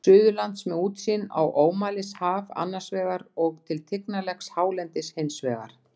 Suðurlands, með útsýn á ómælishaf annars vegar og til tignarlegs hálendis hins vegar.